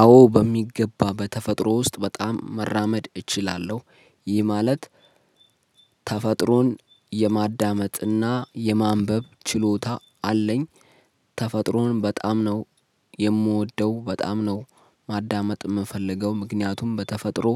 አዎ በሚገባ በተፈጥሮ ውስጥ በጣም መራመድ እችላለሁ። ይህ ማለት ተፈጥሮን የማዳመጥና የማንበብ ችሎታ አለኝ። ተፈጥሮን በጣም ነው የምወደው በጣም ነው። ማዳመጥ የምፈልገው ምክንያቱም በተፈጥሮ